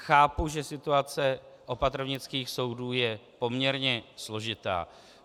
Chápu, že situace opatrovnických soudů je poměrně složitá.